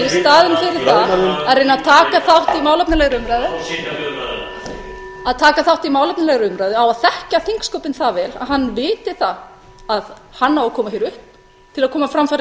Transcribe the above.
þingsal í staðinn fyrir að reyna að taka þátt í málefnalegri umræðu hann á að þekkja þingsköpin það vel að hann viti að hann á að koma hér upp til að koma á framfæri